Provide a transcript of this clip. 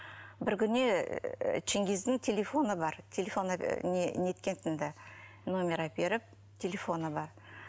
бір күні ченгиздің телефоны бар телефоны неткентін ді номер әперіп телефоны бар